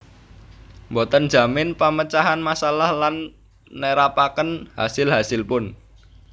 Boten njamin pemecahan masalah lan nerapaken hasil hasilpun